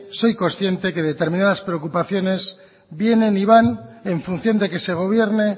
soy consciente de que determinadas preocupaciones vienen y van en función de que se gobierne